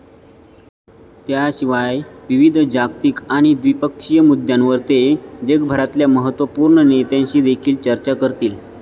त्याशिवाय, विविध जागतिक आणि द्विपक्षीय मुद्द्यांवर ते जगभरातल्या महत्वपूर्ण नेत्यांशी देखील चर्चा करतील